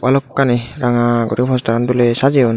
balokkani ranga guri postaran doley sajiyon.